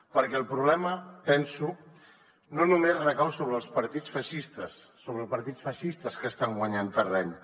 perquè el problema penso no només recau sobre els partits feixistes sobre els partits feixistes que estan guanyant terreny